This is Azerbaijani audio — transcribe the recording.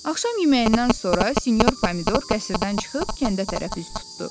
Axşam yeməyindən sonra sinyor Pomidor qəsrdən çıxıb kəndə tərəf üz tutdu.